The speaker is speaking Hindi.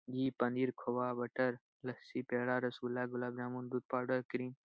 ये पनीर खोवा बटर लस्सी पेड़ा रसगुल्ला गुलाब-जामुन दूध पाउडर क्रीम --